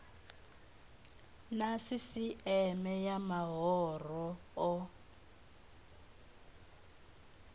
na sisieme ya mahoro o